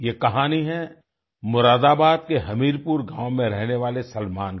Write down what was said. ये कहानी है मुरादाबाद के हमीरपुर गाँव में रहने वाले सलमान की